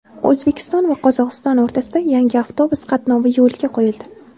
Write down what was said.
O‘zbekiston va Qozog‘iston o‘rtasida yangi avtobus qatnovi yo‘lga qo‘yildi.